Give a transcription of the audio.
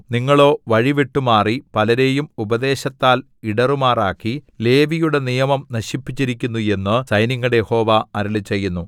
നിങ്ങളോ വഴി വിട്ടുമാറി പലരെയും ഉപദേശത്താൽ ഇടറുമാറാക്കി ലേവിയുടെ നിയമം നശിപ്പിച്ചിരിക്കുന്നു എന്നു സൈന്യങ്ങളുടെ യഹോവ അരുളിച്ചെയ്യുന്നു